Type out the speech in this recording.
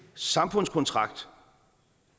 samfundskontrakt